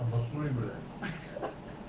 обоснуй бля